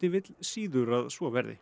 vill síður að svo verði